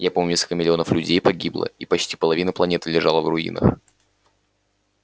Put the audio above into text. я помню несколько миллионов людей погибло и почти половина планеты лежала в руинах